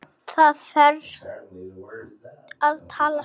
Þér ferst að tala svona!